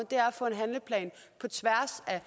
få en handleplan på tværs af